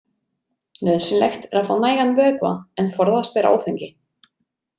Nauðsynlegt er að fá nægan vökva en forðast ber áfengi.